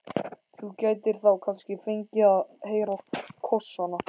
Þú gætir þá kannski fengið að heyra kossana.